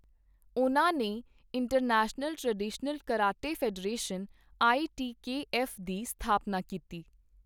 ਉਨ੍ਹਾਂ ਨੇ International Traditional Karate Federation I T K F ਦੀ ਸਥਾਪਨਾ ਕੀਤੀ।